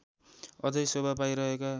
अझै शोभा पाइरहेका